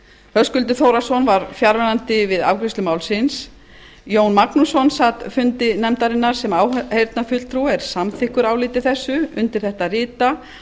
höskuldur þórhallsson var fjarverandi við afgreiðslu málsins jón magnússon sat fundi nefndarinnar sem áheyrnarfulltrúi og er samþykkur áliti þessu undir þetta rita